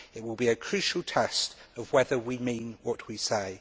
It will be a crucial test of whether we mean what we say.